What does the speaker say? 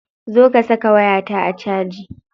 Zo ka saka wayata a caji.